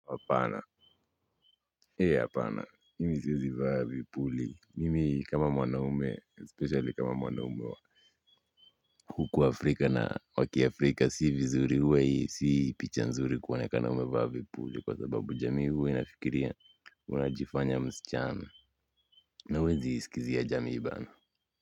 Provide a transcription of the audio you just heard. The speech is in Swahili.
Hapana, hapana, mimi siwezi vaa vipuli, mimi kama mwanaume, especially kama mwanaume wa huku Afrika na wa kiafrika si vizuri huwa hii si picha nzuri kuonekana umevaa vipuli, kwa sababu jamii huwe inafikiria unajifanya msichana na huwezi iskizia jamii bana.